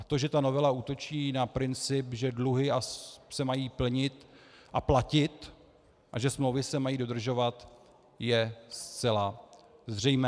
A to, že ta novela útočí na princip, že dluhy se mají plnit a platit a že smlouvy se mají dodržovat, je zcela zřejmé.